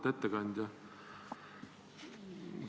Auväärt ettekandja!